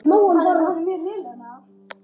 Kemur í ljós!